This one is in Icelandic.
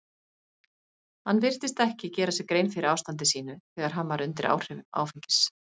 Hann virtist ekki gera sér grein fyrir ástandi sínu þegar hann var undir áhrifum áfengis.